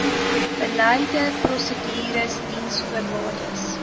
beleide prosedures diensvoorwaardes